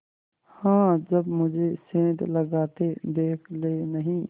हाँ जब मुझे सेंध लगाते देख लेनहीं